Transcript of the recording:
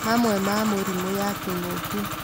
Mamwe ma mũrimũ ya kĩng'ũki